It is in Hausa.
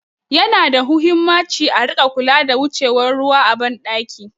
Yana da huhimmaci a rika kulawa da wucewar ruwa a ban ɗaki